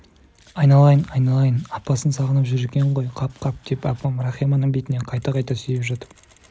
айналайын айналайын апатын сағынып жүр екен ғой қап қап деп апам рахиманың бетінен қайта-қайта сүйіп жатып